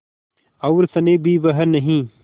और स्नेह भी वह नहीं